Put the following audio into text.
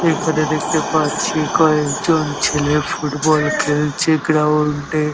এখানে দেখতে পাচ্ছি কয়েকজন ছেলে ফুটবল খেলছে গ্রাউন্ডে ।